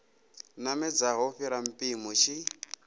namedzaho u fhira mpimo tshi